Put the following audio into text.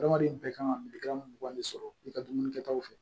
Adamaden bɛɛ kan ka milikan mun gɛnni sɔrɔ i ka dumunikɛtaw fɛ